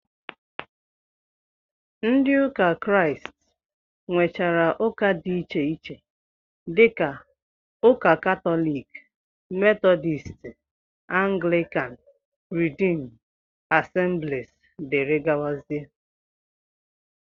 Ndị ụka Kraịst nwechara ụka dị iche iche dịka ụka katọlik, metọdisti, anglikan, ridiim, asemblis, dg